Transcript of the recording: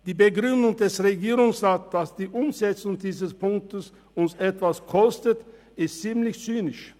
Die Begründung des Regierungsrats, dass uns die Umsetzung dieses Punktes etwas kostet, ist ziemlich zynisch.